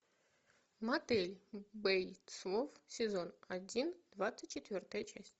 мотель бейтсов сезон один двадцать четвертая часть